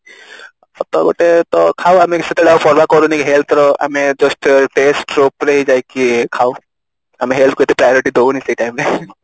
ତ ଗୋଟେ ତ ଖାଉ ଆମେ ସେତେବେଳେ ଆଉ କରୁନି health ର ଆମେ just taste ଉପରେ ଯାଇକି ଖାଉ ଆମେ health କୁ ଏତେ priority ଦଉନେ ସେ time ରେ